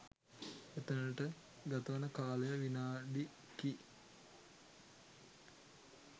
එතැනට ගතවන කාලය විනාඩි කි